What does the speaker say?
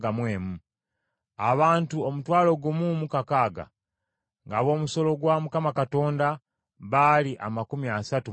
Abantu omutwalo gumu mu kakaaga (16,000); ng’ab’omusolo gwa Mukama Katonda baali amakumi asatu mu babiri (32).